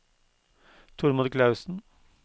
Tormod Clausen